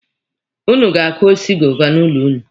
Ụnụ ga-akụ osisi goova n'ụlọ ụnụ.